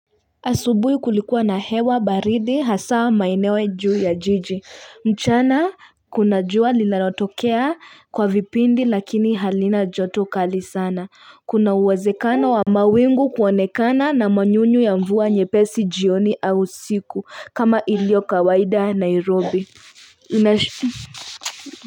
Asubuhi kulikuwa na hewa baridi hasaa maineo juu ya jiji. Mchana kuna jua linalotokea kwa vipindi lakini halina joto kali sana. Kuna uwezekana wa mawingu kuonekana na manyunyu ya mvua nyepesi jioni au usiku. Kama iliokawaida Nairobi.